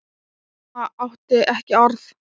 Mamma átti ekki orð.